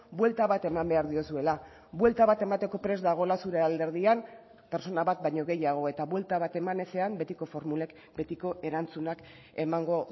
buelta bat eman behar diozuela buelta bat emateko prest dagoela zure alderdian pertsona bat baino gehiago eta buelta bat eman ezean betiko formulek betiko erantzunak emango